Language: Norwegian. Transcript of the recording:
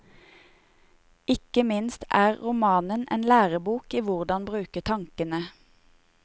Ikke minst er romanen en lærebok i hvordan bruke tankene.